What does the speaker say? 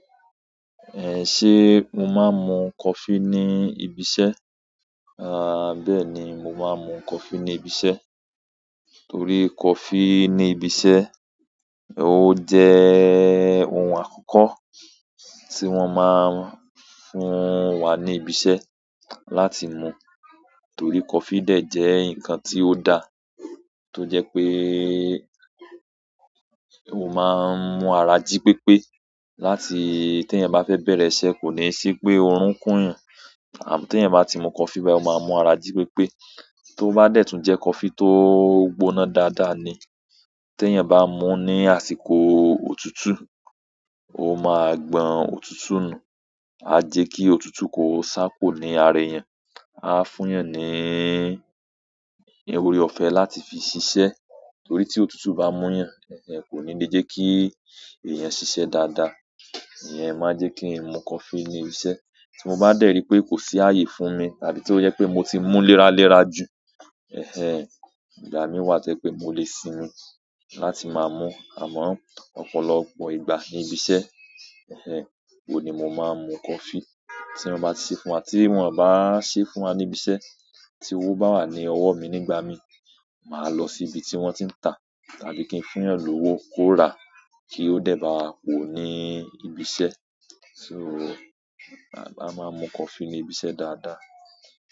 Eh, ṣe mo máa ń mu coffee ní ibi iṣẹ́? À, bẹ́ẹ̀ ni, mo máa ń mu coffee ní ibi iṣẹ́. Torí coffee ní ibi iṣẹ́, ó jẹ ohun àkọ́kọ́ tí wọ́n máa ń fún wa ní ibi iṣẹ́ láti mú. Torí coffee dẹ̀ jẹ́ nǹkan tí ó da, tó jẹ́ pé o máa ń mú ara jí pépé láti tí èèyàn bá fẹ́ bẹ̀rẹ̀ iṣẹ́, kò ní sí pé oorun kún yàn. Àmọ́, tí èèyàn bá ti mu coffee báyìí, o máa mú ara jí pépé. Tó bá dẹ̀ tún jẹ́ coffee tó gbóná dáadáa ni. Tí èèyàn bá mú ní àsìkò òtútù, o máa gbọn òtútù nù, a jẹ́ kí òtútù kó sá kúrò ní ara èèyàn, a fún èèyàn ní iyaw-- ọ̀rẹ́ ọ̀fẹ́ láti fi ṣiṣẹ́. Torí tí òtútù bá múyàn, ẹ́ ẹ́ kò ní lè jẹ́ kí èèyàn ṣiṣẹ́ dáadáa. Ìyẹn máa jẹ kí n mu coffee ní ibi iṣẹ́ tí mo bá dẹ̀ ri pé kò sí ààyè fún mi tàbí tí ó jẹ́ pé mo ti mú léraléra jù, ẹ̀ ẹ́ ẹ̀, ìgbà míi wà tó jẹ́ pé mo lè sinmi láti máa mú. Àmọ́, ọ̀pọ̀lọpọ̀ ìgbà ní ibi iṣẹ́, ẹ̀ ẹ́ ẹ́, òhun ni mo máa ń mu coffee. Tí wọ́n bá ti ṣe fún wa, tí wọ́n o báa ṣe fún wa ní ibi iṣẹ́, tí owó bá wà ní ọwọ́ mi nígbà mi, màá lọ sí ibi tí wọ́n ti ń tà, tàbí kí n fún èèyàn lòwo kó ra kí ó dẹ̀ bá wa pòó ní ibi iṣẹ́. So, à bá a máa ń mu coffee ní ibi iṣẹ́ dáadáa.